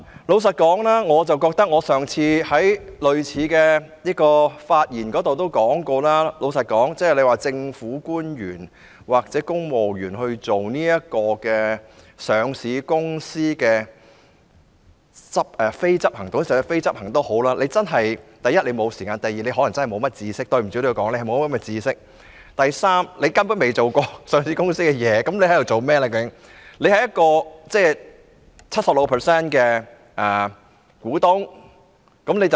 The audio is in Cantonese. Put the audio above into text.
老實說，我上次就類似議題發言時也提到，交由政府官員或公務員擔任上市公司的非執行董事，第一，他們真的沒有時間處理；第二，抱歉我要說一句，他們可能欠缺相關知識；以及第三，就是他們根本不曾處理過上市公司的工作。